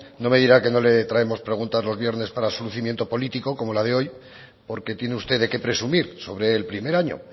no me dirá que no le traemos preguntas los viernes para su lucimiento político como la de hoy porque tiene usted de qué presumir sobre el primer año